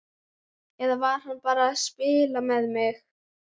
Eða var hann bara að spila með mig?